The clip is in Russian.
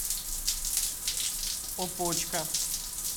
опочка